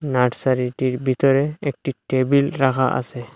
নার্সারিটির ভিতরে একটি টেবিল রাখা আছে।